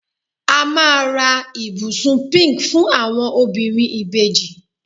a ma ra ibusun pink fún àwọn obìnrin ibeji